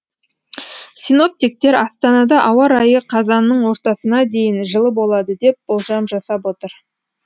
синоптиктер астанада ауа райы қазанның ортасына дейін жылы болады деп болжам жасап отыр